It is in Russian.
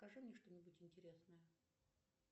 покажи мне что нибудь интересное